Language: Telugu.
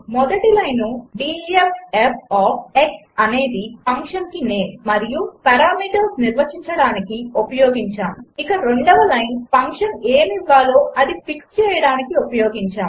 మొదటి line D E F f of x అనేది ఫంక్షన్కి నేమ్ మరియు పారామీటర్స్ నిర్వచించడానికి ఉపయోగించాము ఇక రెండవ లైను ఫంక్షన్ ఏమి ఇవ్వాలో అది ఫిక్స్ చేయడానికి ఉపయోగించాము